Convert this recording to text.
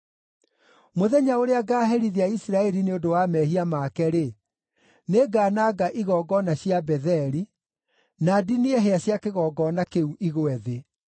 “Mũthenya ũrĩa ngaaherithia Isiraeli nĩ ũndũ wa mehia make-rĩ, nĩngananga igongona cia Betheli; na ndinie hĩa cia kĩgongona kĩu igwe thĩ.